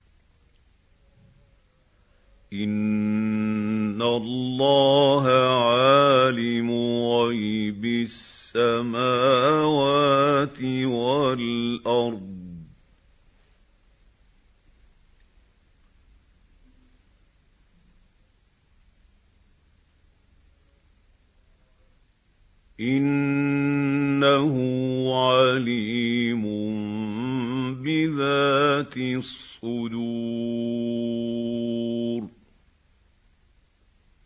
إِنَّ اللَّهَ عَالِمُ غَيْبِ السَّمَاوَاتِ وَالْأَرْضِ ۚ إِنَّهُ عَلِيمٌ بِذَاتِ الصُّدُورِ